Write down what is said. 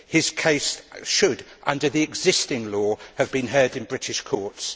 His case should, under the existing law, have been heard in British courts.